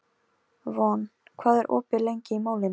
Von, hvað er opið lengi í Málinu?